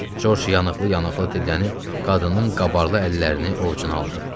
George yanıqlı-yanıqlı dillənib qadının qabarlı əllərini ovcuna aldı.